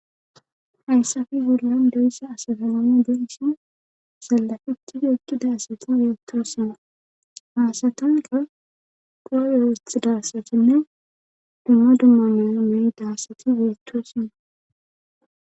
Hayssafi wullan doyssa asafanami bensin sallafiTido ekki daasati yeetosina haasatanka qurawowet darsatinne dumma dummana meyi daassati yeettosinna